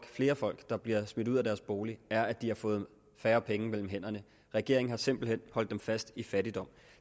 flere folk der bliver smidt ud af deres bolig er at de har fået færre penge mellem hænderne regeringen har simpelt hen holdt dem fast i fattigdom